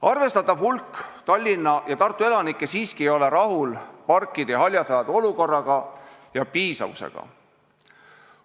Arvestatav hulk Tallinna ja Tartu elanikke siiski ei ole rahul parkide ja haljasalade olukorra ja piisavusega.